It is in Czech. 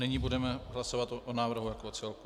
Nyní budeme hlasovat o návrhu jako o celku.